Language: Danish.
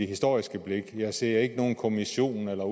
historisk blik jeg ser ikke nogen kommission eller